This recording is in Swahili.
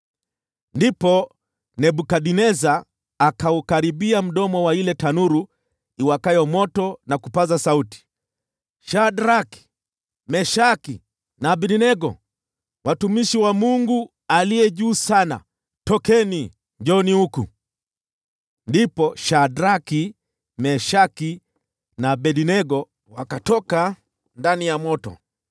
Ndipo Nebukadneza akaukaribia mdomo wa ile tanuru iwakayo moto na kupaza sauti, “Shadraki, Meshaki na Abednego, watumishi wa Mungu Aliye Juu Sana, tokeni! Njooni hapa!” Ndipo Shadraki, Meshaki na Abednego wakatoka ndani ya moto.